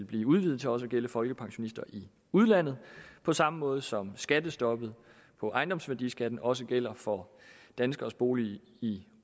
blive udvidet til også at gælde folkepensionister i udlandet på samme måde som skattestoppet for ejendomsværdiskatten også gælder for danskeres bolig i